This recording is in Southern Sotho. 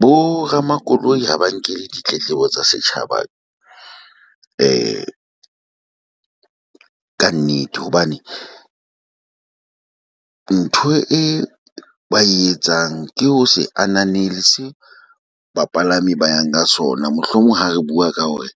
Bo ramakoloi ha ba nkele ditletlebo tsa setjhaba kannete, hobane ntho e ba e etsang ke ho se ananele se bapalami ba yang ka sona. Mohlomong ha re bua ka hore